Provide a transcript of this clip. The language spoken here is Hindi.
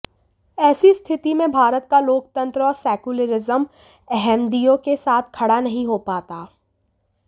ऐसी स्थिति में भारत का लोकतंत्र और सेकुलरिज्म अहमदियों के साथ खड़ा नहीं हो पाता